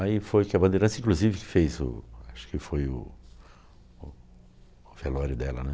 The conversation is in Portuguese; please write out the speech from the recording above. Aí foi que a bandeirança, inclusive, que fez o, acho que foi o o o velório dela, né?